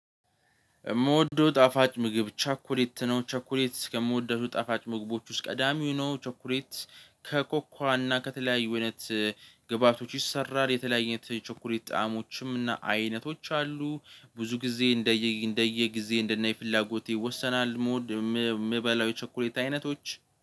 እምወደው ጣፋጭ ምግብ ቸኮሌት ነው ቸኮሌት ከምወደው ጣፋጭ ምግቦች ውስጥ ቀዳሚው ነው። ቸኩሌት ከኮኳና ከተለያዩ አይነት ግብአቶች ይሰራል የተለያየ አይነት ቸኮሌት ጣዕሞችም እና አይነቶች አሉ። ብዙ ጊዜ እንደየ እንደየ ጊዜ እንደነ የፍላጎቴ ይወሰናል ምወድ የሚበላው የቸኮሌት አይነቶች